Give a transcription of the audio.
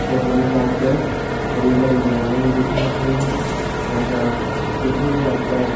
photo मा जी आप तैं हरयूं - भरयूं होलु दिखेणे कू मिलनु जा का बीच मा जी आप तैं --